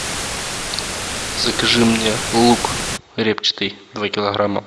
закажи мне лук репчатый два килограмма